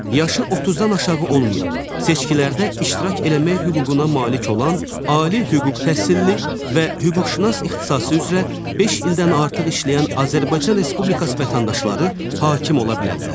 Yaşı 30-dan aşağı olmayan, seçkilərdə iştirak eləmək hüququna malik olan, ali hüquq təhsilli və hüquqşünas ixtisası üzrə beş ildən artıq işləyən Azərbaycan Respublikası vətəndaşları hakim ola bilərlər.